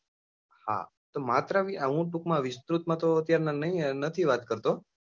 હા, તો માત્ર હું ટૂંક માં વિસૃત માં તો અત્યારે નથી વાત કરતો.